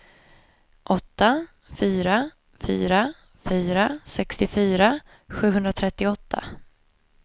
åtta fyra fyra fyra sextiofyra sjuhundratrettioåtta